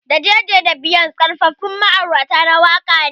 Da Jay-Z da Beyonce Karfafun ma'aurata na waka ne.